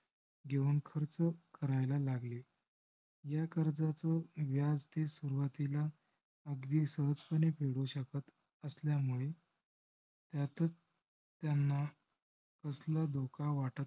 घेऊन खर्च करायला लागले. ह्या कर्जाचे व्याज ते सुरूवातीला अगदी सहजपणे फेडू शकत असल्यामुळे हयातच त्यांना कसला धोका वाटत